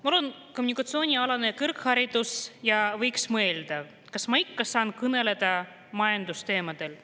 Mul on kommunikatsioonialane kõrgharidus ja võiks mõelda, kas ma ikka saan kõneleda majandusteemadel.